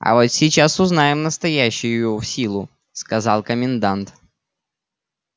а вот сейчас узнаем настоящую его силу сказал комендант